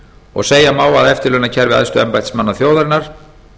og segja má að eftirlaunakerfi æðstu embættismanna þjóðarinnar